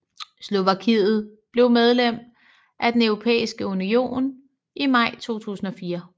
Slovakiet blev medlem af Den Europæiske Union i maj 2004